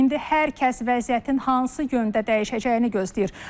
İndi hər kəs vəziyyətin hansı yöndə dəyişəcəyini gözləyir.